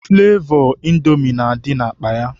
Flevọ Indomi na-adị n'akpa ya.